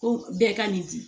Ko bɛɛ ka nin di